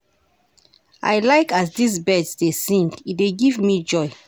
I like as dese birds dey sing, e dey give me joy.